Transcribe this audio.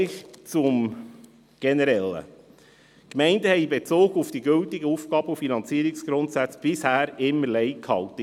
Zum Generellen: Die Gemeinden haben in Bezug auf die gültigen Aufgaben- und Finanzierungsgrundsätze bisher immer Lei gehalten.